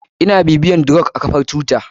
Ina bibiyar the rock a kafar twitter.